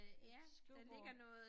Et skrivebord